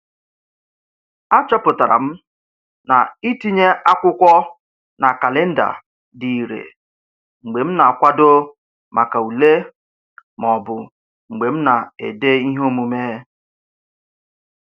A chọpụtara m na itinye akwụkwọ na kalịnda dị ire mgbe m na-akwado maka ule maọbụ mgbe m na-ede ihe omume.